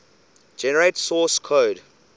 generate source code